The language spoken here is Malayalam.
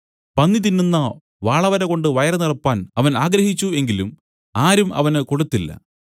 പന്നി തിന്നുന്ന വാളവര കൊണ്ട് വയറു നിറപ്പാൻ അവൻ ആഗ്രഹിച്ചു എങ്കിലും ആരും അവന് കൊടുത്തില്ല